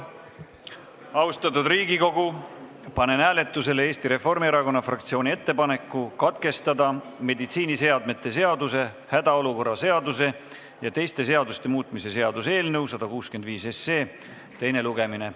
Austatud Riigikogu, panen hääletusele Eesti Reformierakonna fraktsiooni ettepaneku katkestada meditsiiniseadme seaduse, hädaolukorra seaduse ja teiste seaduste muutmise seaduse eelnõu 165 teine lugemine.